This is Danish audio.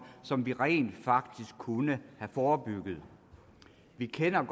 som vi rent faktisk kunne have forebygget vi kender